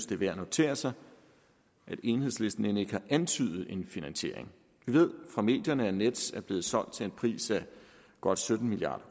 det er værd at notere sig at enhedslisten end ikke har antydet en finansiering vi ved fra medierne at nets er blevet solgt til en pris af godt sytten milliard